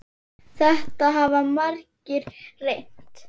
Þetta hafa margir reynt.